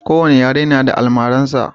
Ko wani yare na da almarar sa